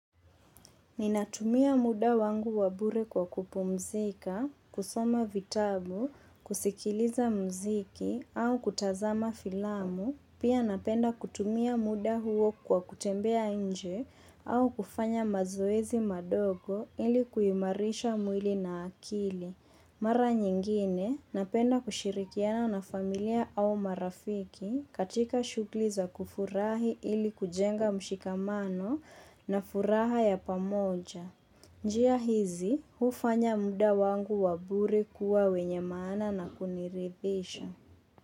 Ninatumia muda wangu wa bure kwa kupumzika, kusoma vitabu, kusikiliza mziki au kutazama filamu, pia napenda kutumia muda huo kwa kutembea nje au kufanya mazoezi madogo ili kuimarisha mwili na akili. Mara nyingine napenda kushirikiana na familia au marafiki katika shughuli za kufurahi ili kujenga mshikamano na furaha ya pamoja. Njia hizi hufanya muda wangu wa bure kuwa wenye maana na kuniridhisha.